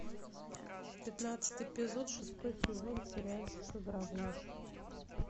пятнадцатый эпизод шестой сезон сериальчик игра в ложь